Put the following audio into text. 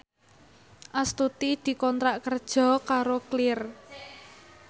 Astuti dikontrak kerja karo Clear